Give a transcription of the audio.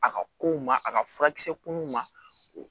A ka kow ma a ka furakisɛ kunnuw ma o